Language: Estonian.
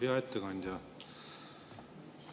Hea ettekandja!